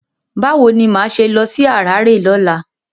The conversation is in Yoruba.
Báwo ni máa ṣe lọ sí haráré lọ́la?